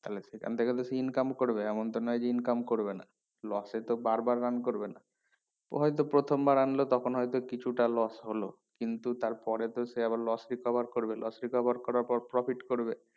তাহলে সেখান থেকে তো সে income করবে এমন তো নোই যে সে income করবে না loss এ তো বার বার run করবে না ও হয়তো প্রথমবার অন্য তখন হয়তো কিছুটা loss হলো কিন্তু তার পরে তো সে আবার loss কে cover করবে loss কে cover করার পর profit করবে